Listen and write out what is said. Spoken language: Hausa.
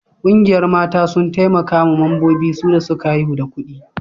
Ƙungiyar mata sun taimaka ma mambobin su da suka haihu da kudi